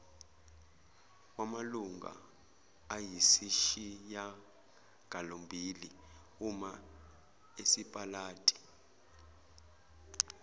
yamalunga ayisishiyagalombili umasipalati